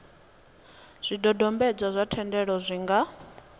zwidodombedzwa zwa thendelo zwi nga